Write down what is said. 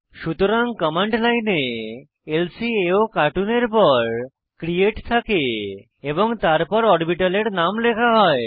সুতরাং কমান্ড লাইনে ল্কাওকার্টুন এর পর ক্রিয়েট থাকে এবং তারপর অরবিটালের নাম লেখা হয়